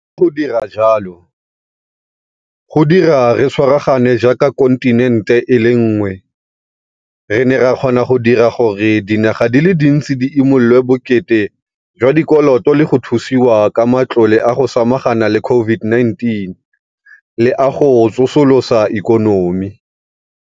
Ka go dira jalo, go dira re tshwaragane jaaka kontinente e le nngwe, re ne ra kgona go dira gore dinaga di le dintsi di imololwe bokete jwa dikoloto le go thusiwa ka matlole a go samagana le COVID-19 le a go tsosolosa ikonomi.